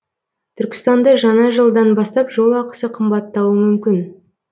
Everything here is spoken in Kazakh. түркістанда жаңа жылдан бастап жол ақысы қымбаттауы мүмкін